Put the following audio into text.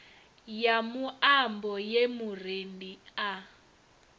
ya muambo ye murendi a